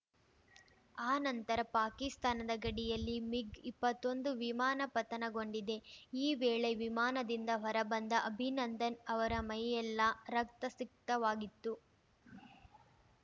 ಆ ನಂತರ ಪಾಕಿಸ್ತಾನದ ಗಡಿಯಲ್ಲಿ ಮಿಗ್‌ಇಪ್ಪತ್ತೊಂದು ವಿಮಾನ ಪತನಗೊಂಡಿದೆ ಈ ವೇಳೆ ವಿಮಾನದಿಂದ ಹೊರಬಂದ ಅಭಿನಂದನ್‌ ಅವರ ಮೈಯೆಲ್ಲಾ ರಕ್ತಸಿಕ್ತವಾಗಿತ್ತು